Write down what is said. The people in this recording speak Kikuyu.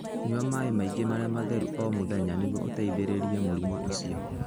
Nyua maĩ maingĩ marĩa matheru o mũthenya nĩguo ũteithĩrĩrie mũrimũ ũcio.